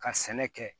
Ka sɛnɛ kɛ